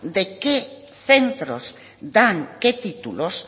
de qué centros dan qué títulos